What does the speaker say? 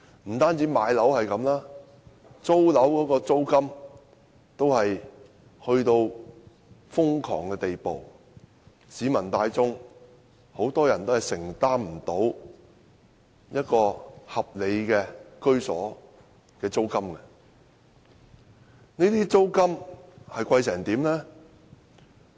不僅樓價如此，租金也達致瘋狂的地步，市民大眾多數無法承擔合理居所的租金。